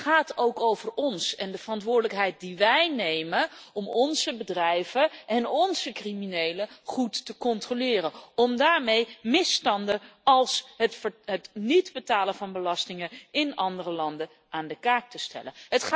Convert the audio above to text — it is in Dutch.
Het gaat ook over ons en de verantwoordelijkheid die wij nemen om onze bedrijven en onze criminelen goed te controleren, om daarmee misstanden als het niet betalen van belastingen in andere landen aan de kaak te stellen.